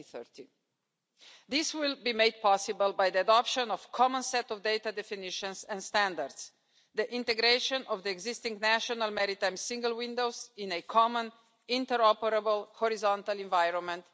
2030. This will be made possible by the adoption of a common set of data definitions and standards the integration of the existing national maritime single windows in a common interoperable horizontal environment